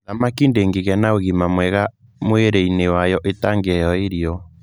Thamaki ndĩngĩgĩa na ũgima mwega mwĩrĩinĩ wayo ĩtangĩhro irio.